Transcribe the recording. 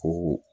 Ko